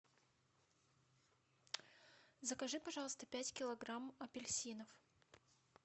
закажи пожалуйста пять килограмм апельсинов